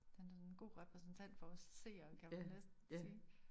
Han er en god repræsentant for os seere kan man næsten sige